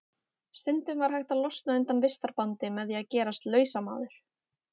Stundum var hægt að losna undan vistarbandi með því að gerast lausamaður.